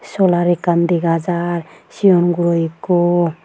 Solar ekkan dega jaar sion guro ekko.